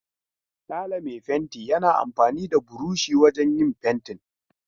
Sale mai fenti yana amfani da burushi wajen yin fentin.